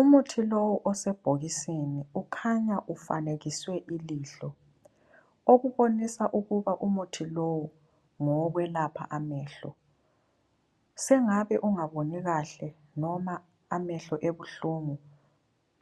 Umuthi lowu osebhokisini ukhanya ufanekiswe ilihlo okubonisa ukuba umuthi lowu ngowokwelapha amehlo. Sengabe ungaboni kahle noma amehlo ebuhlungu